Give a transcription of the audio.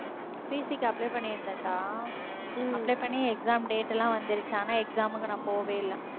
PC க்கு apply பண்ணிருந்தேன்டா apply பண்ணி exam date லாம் வந்துடுச்சு ஆனா exam க்கு நான் போவே இல்ல